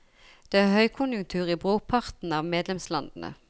Det er høykonjunktur i brorparten av medlemslandene.